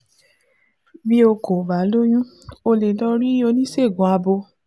Bí o kò bá lóyún, o lè lọ rí oníṣègùn abo